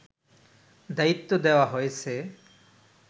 দায়িত্ব দেওয়া হয়েছে